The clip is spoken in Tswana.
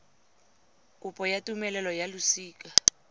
kopo ya tumelelo ya losika